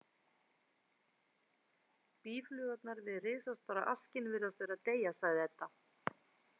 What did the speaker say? Býflugurnar við risastóra askinn virðast vera að deyja, sagði Edda.